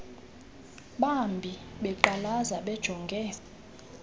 bambi beqalaza bejonge